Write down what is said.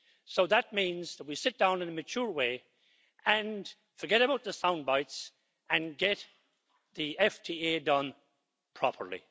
So that means that we sit down in a mature way, forget about the sound bites and get the FTA done properly.